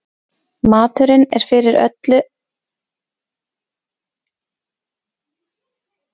Maturinn er fyrir öllu allt er það matur í magann kemst nema holtarætur einar.